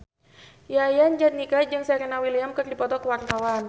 Yayan Jatnika jeung Serena Williams keur dipoto ku wartawan